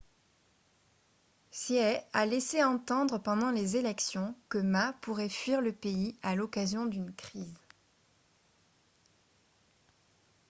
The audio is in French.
hsieh a laissé entendre pendant les élections que ma pourrait fuir le pays à l'occasion d'une crise